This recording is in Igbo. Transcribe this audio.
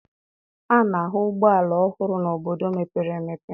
A na-ahụ ụgbọala ọhụrụ n'obodo mepere emepe.